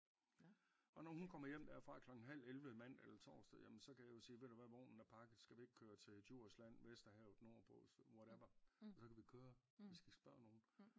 Og når hun kommer hjem derfra klokken halv 11 mandag eller torsdag jamen så kan jeg jo sige ved du hvad vognen er pakket skal vi ikke køre til Djursland Vesterhavet nordpå whatever og så kan vi køre vi skal ikke spørge nogen